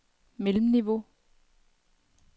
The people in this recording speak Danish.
mellemniveau